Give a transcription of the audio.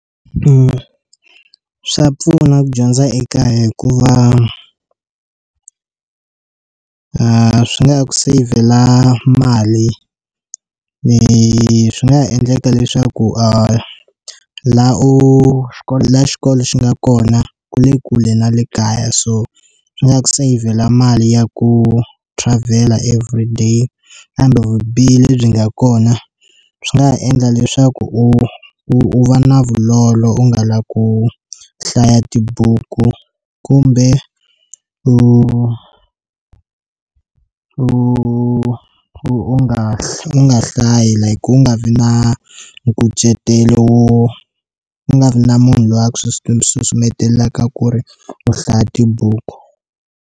Swa pfuna ku dyondza eka hikuva a swi nga ku save-vhela mali ni swi nga ha endleka leswaku a laha u ya laha xikolo xi nga kona ku le kule na le kaya so swi nga ku sayivela mali ya ku travel-la everyday kambe vubihi lebyi nga kona swi nga endla leswaku u u va na vulolo u nga lavi ku hlaya tibuku kumbe u u u nga u nga hlayi like u nga vi na nkucetelo u nga vi na munhu loyi a ku susumetelaka ku ri u hlaya tibuku.